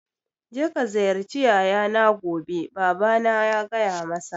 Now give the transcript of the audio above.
Je ka ziyarci yayana gobe, babana ya gaya masa